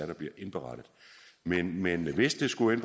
der bliver indberettet men men hvis der skulle